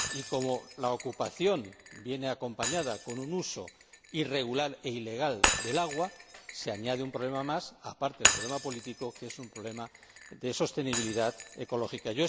Como la ocupación viene acompañada por un uso irregular e ilegal del agua, se añade un problema más, aparte del problema político, como es el problema de sostenibilidad ecológica.